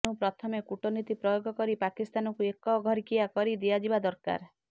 ତେଣୁ ପ୍ରଥମେ କୂଟନୀତି ପ୍ରୟୋଗ କରି ପାକିସ୍ତାନକୁ ଏକଘରିକିଆ କରି ଦିଆଯିବା ଦରକାର